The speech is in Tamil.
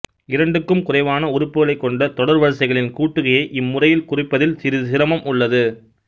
இரண்டுக்கும் குறைவான உறுப்புகளைக் கொண்ட தொடர்வரிசைகளின் கூட்டுகையை இம்முறையில் குறிப்பதில் சிறிது சிரமம் உள்ளது